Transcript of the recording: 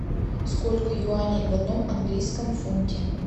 сколько юаней в одном английском фунте